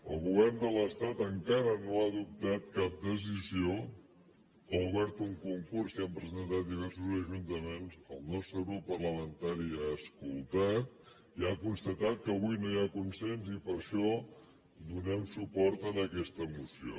el govern de l’estat encara no ha adoptat cap decisió ha obert un concurs s’hi han presentat diversos ajuntaments el nostre grup parlamentari ha escoltat i ha constatat que avui no hi ha consens i per això donem suport a aquesta moció